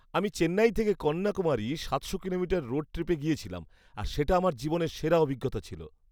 আমি চেন্নাই থেকে কন্যাকুমারী সাতশো কিলোমিটার রোড ট্রিপে গিয়েছিলাম আর সেটা আমার জীবনের সেরা অভিজ্ঞতা ছিল।